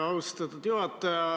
Austatud juhataja!